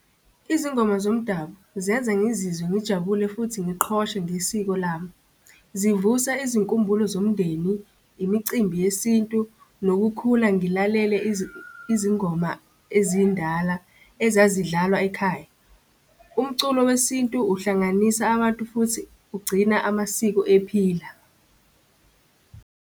Izingoma zomdabu zenza ngizizwe ngijabule futhi ngiqhoshe ngesiko lami. Zivusa izinkumbulo zomndeni, imicimbi yesintu, nokukhula ngilalele izingoma ezindala ezazidlalwa ekhaya. Umculo wesintu uhlanganisa abantu futhi ugcina amasiko ephila.